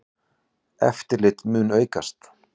Eftirlit mun aukast.